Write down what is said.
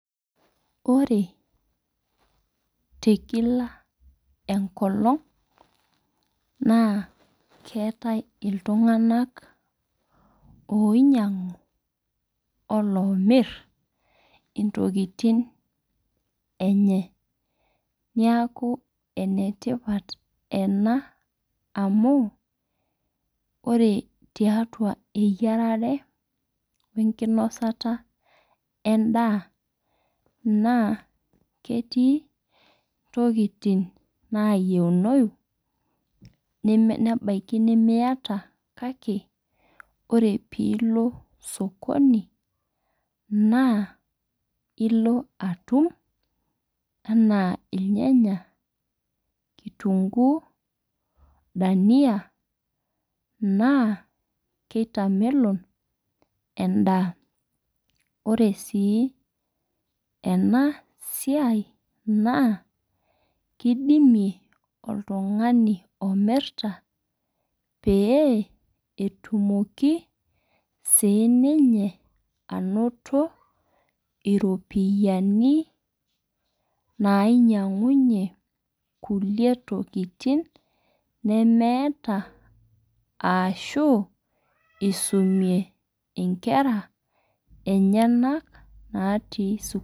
Ore teb kila enkolong' naa keetae iltung'ana oinyang'u olomir intokintin enye. Niaku ename tipat ena amu ore tiatu eyiarere wee nkinosita edaa naa ketii ntokitin nayeunoi nebaiki nemiata kake ore piilo sokoni naa ilo atum anaa irnyanya kitunguu dania naa keitamelon edaa. Ore sii enaa siai naa kidimie oltung'ani omiritaa pee etumoki. Sii ninye anoto iropiani nainyangunye kulie tokitin neemeata arashu isumie inkera enyenak naati sukul.